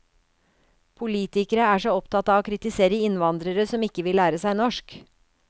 Politikere er så opptatt av å kritisere innvandrere som ikke vil lære seg norsk.